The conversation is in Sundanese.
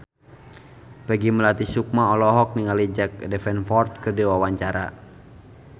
Peggy Melati Sukma olohok ningali Jack Davenport keur diwawancara